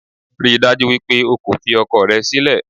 Ríi dájú wípé o kò fi ọkọ rẹ sílẹ̀